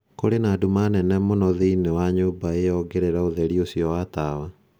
Kũrĩ na nduma nene mũno thĩinĩ wa nyũmba ĩyo ongerera ũtheri ũcio wa tawa.